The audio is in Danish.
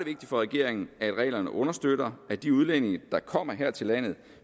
for regeringen at reglerne understøtter at de udlændinge der kommer her til landet